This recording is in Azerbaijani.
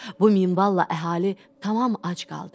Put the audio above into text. Bu minvalla əhali tamam ac qaldı.